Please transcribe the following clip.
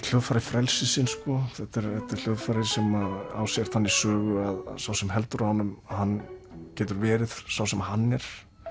hljóðfæri frelsisins þetta er hljóðfæri sem á sér þannig sögu að sá sem heldur á honum hann getur verið sá sem hann er